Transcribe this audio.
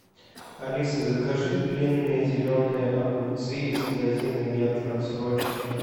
алиса закажи длинные зеленые огурцы из магазина метро срочно